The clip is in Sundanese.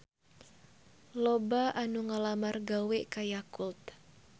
Loba anu ngalamar gawe ka Yakult